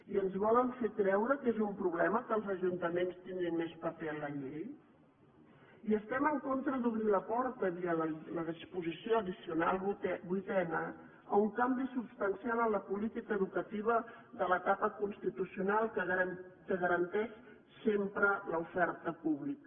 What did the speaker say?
i ens volen fer creure que és un problema que els ajuntaments tinguin més paper a la llei i estem en contra d’obrir la porta via la disposició addicional vuitena a un canvi substancial en la política educativa de l’etapa constitucional que garanteix sempre l’oferta pública